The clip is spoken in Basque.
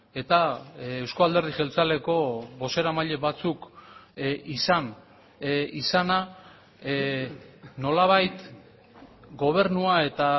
eta euzko alderdi jeltzaleko bozeramaile batzuk izan izana nolabait gobernua eta